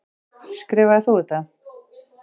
Skrifaðir þú þetta?